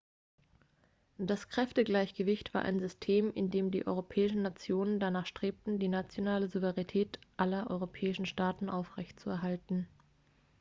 das kräftegleichgewicht war ein system in dem die europäischen nationen danach strebten die nationale souveränität aller europäischen staaten aufrechtzuerhalten